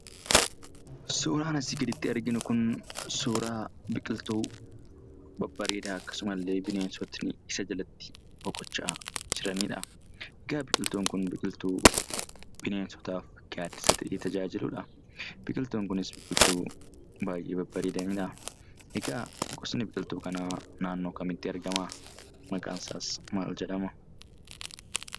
Suuraan asii gaditti arginu kun, suuraa biqiltuu babbareedaa akkasuma illee bineensotni isa jalatti boqochaa jiranidha. Egaa biqiltuun Kun, biqiltuu bineensotaaf gaadisa ta'ee tajaajiludha. Biqiltuun kunis, biqiltuu baayyee babbareedanidha. Egaa gosni biqiltuu kanaa naannoo kamitti argamaa? Maqaan isaas maal jedhama?